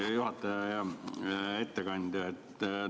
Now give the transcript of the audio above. Hea juhataja ja ettekandja!